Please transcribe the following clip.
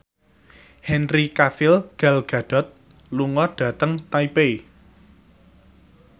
Henry Cavill Gal Gadot lunga dhateng Taipei